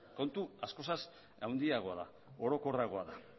kontu askoz handiagoa da orokorragoa da